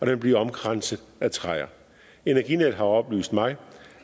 vil blive omkranset af træer energinet har oplyst mig